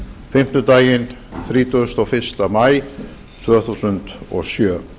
fimmtudaginn þrítugasta og fyrsta maí tvö þúsund og sjö